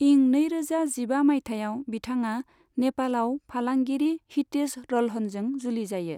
इं नैरोजा जिबा मायथाइयाव बिथाङा नेपालाव फालांगिरि हितेश रल्हनजों जुलि जायो।